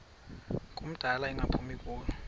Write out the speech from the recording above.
ngumdala engaphumi kulo